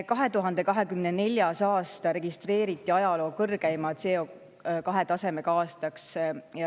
2024. aasta registreeriti ajaloo kõrgeima CO2-tasemega aastaks.